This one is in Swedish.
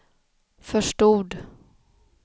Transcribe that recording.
förstod